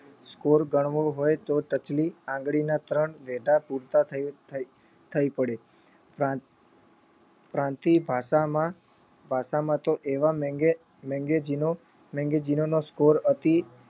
score ગણવો હોય તો ટચલી આંગળીના ત્રણ વેઢા પૂરતા થઈ થઈ થઈ પડે પ્રાંત પ્રાંતીય ભાષામાં ભાષામાં તો એવા maga magazine નો magazine નો score અતિ